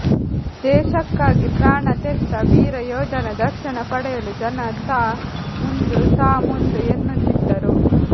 ದೇಶಕ್ಕಾಗಿ ಪ್ರಾಣ ತೆತ್ತ ವೀರಯೋಧನ ದರ್ಶನ ಪಡೆಯಲು ಜನ ತಾ ಮುಂದು ತಾ ಮುಂದು ಎನ್ನುತ್ತಿದ್ದರು